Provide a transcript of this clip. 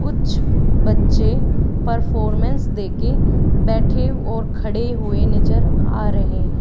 कुछ बच्चे परफॉर्मेंस दे के बैठे और खड़े हुए नजर आ रहे हैं।